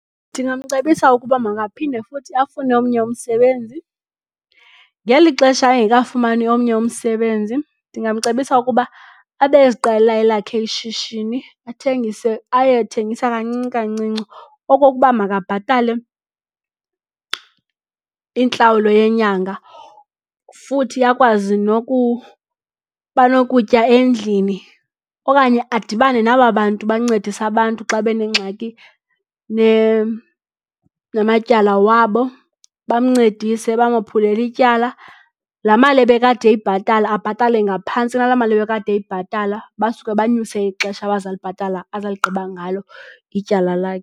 Ndingamcebisa ukuba makaphinde futhi afune omnye umsebenzi. Ngeli xesha ungekafumani omnye umsebenzi ndingamcebisa ukuba abe eziqalela elakhe ishishini athengise aye ethengisa kancinci kancinci okokuba makabhatale intlawulo yenyanga. Futhi akwazi nokuba nokutya endlini okanye adibane naba bantu bancedisa abantu xa benengxaki namatyala wabo, bamncedise bamophulele ityala. La mali ebe kade eyibhatale abhatale ngaphantsi kwala mali ebe kade eyibhatala basuke banyuse ixesha azawulibhatala azawuligqiba ngalo ityala lakhe.